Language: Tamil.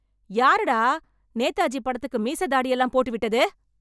யாருடா நேதாஜி படத்துக்கு மீசை, தாடி எல்லாம் போட்டுவிட்டது...